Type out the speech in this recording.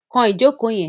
Kan ìjókòó yẹn!